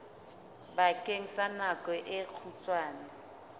bakeng sa nako e kgutshwane